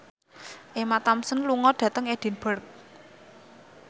Emma Thompson lunga dhateng Edinburgh